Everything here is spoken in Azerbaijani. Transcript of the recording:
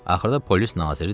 Axırda polis naziri dedi.